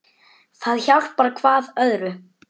Það hjálpar hvað öðru.